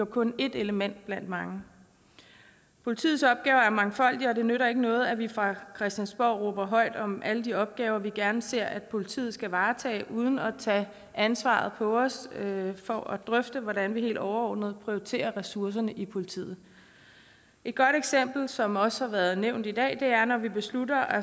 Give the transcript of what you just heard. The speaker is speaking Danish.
kun et element blandt mange politiets opgaver er mangfoldige og det nytter ikke noget at vi fra christiansborgs side råber højt om alle de opgaver vi gerne ser politiet varetager uden at tage ansvaret på os for at drøfte hvordan vi helt overordnet prioriterer ressourcerne i politiet et godt eksempel som også har været nævnt i dag er når vi beslutter at